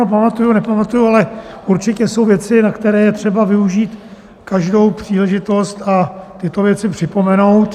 No pamatuji, nepamatuji, ale určitě jsou věci, na které je třeba využít každou příležitost a tyto věci připomenout.